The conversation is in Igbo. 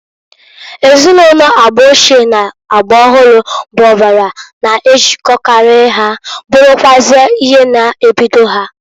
Ezinụlọ agba ochie n'agba ọhụrụ bụ ọbara n'ejilkokarị ha, bụrụkwụazị ihe na-ebido ha.